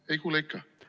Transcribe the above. Ei kuule ikka?